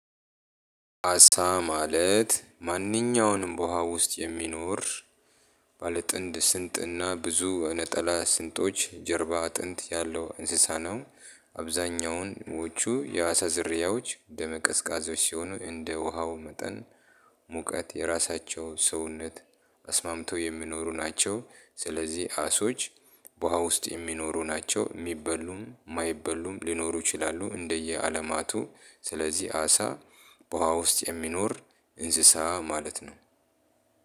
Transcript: አሳ ማለት ማንኛውንም በውሃ ውስጥ የሚኖር ባለ ጥንድ ስንጥና ብዙ ነጠላ ስንጦች ጀርባ አጥንት ያለው እንስሳ ነው። አብዛኛዎቹ የአሳ ዝርያዎች ደመ ቀዝቃዞች ሲሆኑ እንደ ውሃው መጠን ሙቀት የራሳቸው ሰውነት አስማምቶ የሚኖሩ ናቸው። ስለዚህ አሶች በውሃ ውስጥ የሚኖሩ ናቸው የሚበሉም የማይበሉም ሊኖሩ ይችላሉ። እንደ የአለማቱ ስለዚህ አሳ በውሃ ውስጥ የሚኖር እንስሳ ማለት ነው።